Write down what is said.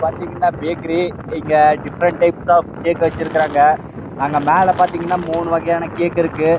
bakery இங்க விதவிதமான cake வெச்சிக்குறாங்க